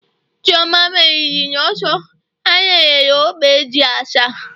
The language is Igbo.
chioma meriri n'ọsọ, ha nyere ya ogbe ji asa